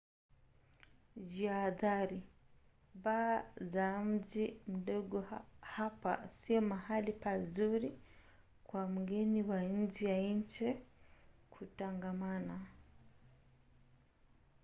jihadhari: baa za mji mdogo hapa sio mahali pazuri kwa mgeni wa nje ya nchi kutangamana